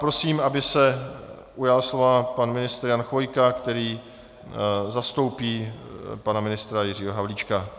Prosím, aby se ujal slova pan ministr Jan Chvojka, který zastoupí pana ministra Jiřího Havlíčka.